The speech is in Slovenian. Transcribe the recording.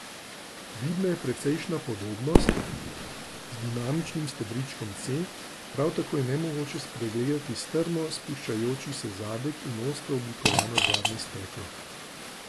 Vidna je precejšnja podobnost z dinamičnim stebričkom C, prav tako je nemogoče spregledali strmo spuščajoči se zadek in ostro oblikovano zadnje steklo.